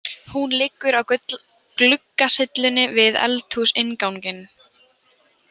Hún liggur á gluggasyllunni við eldhúsinnganginn.